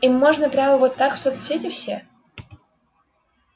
им можно прямо вот так в соцсети все